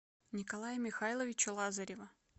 николая михайловича лазарева